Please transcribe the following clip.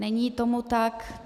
Není tomu tak.